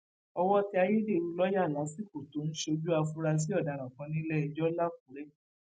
owó tẹ ayédèrú lọọyà lásìkò tó ń ṣojú afurasí ọdaràn kan nílẹẹjọ làkúrẹ